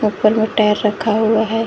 ऊपर में टायर रखा हुआ है।